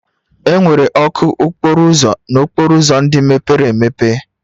Enwere ọkụ okporo ụzọ n'okporo ụzọ ndị mepere emepe